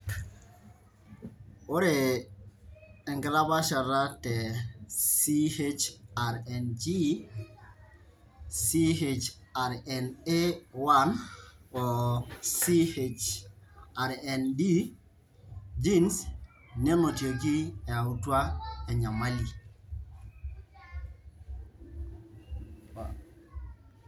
ire enkitapashata te CHRNG,CHRNA1 o CHRND genes nenotiki eyautua enanyamali.